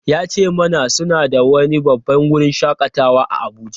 Ya ce mana suna da wani babban wurin shakatawa a Abuja.